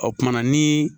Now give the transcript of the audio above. O kumana ni